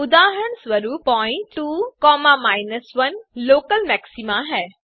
उदाहरणस्वरूप point 2 1 local maxima है